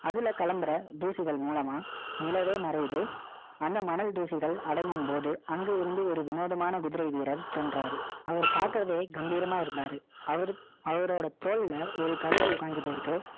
அதுல கிளம்புற தூசிகள் மூலமா, நிலவே மறையுது. அந்த மணல் தூசிகள் அடங்கும்போது, அங்க இருந்து ஒரு வினோதமான குதிரை வீரர் சொல்றாரு. அவர் பார்க்கவே கம்பீரமா இருந்தாரு. அவரு, அவரோட தோள்ல ஒரு கழுகு உட்கார்ந்துட்டு இருக்கு